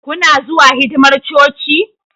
Kuna zuwa hidimar coci?